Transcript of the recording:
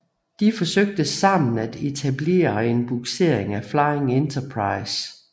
De forsøgte sammen at etablere en bugsering af Flying Enterprise